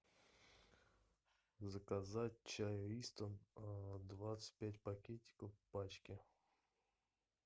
заказать чай ристон двадцать пять пакетиков в пачке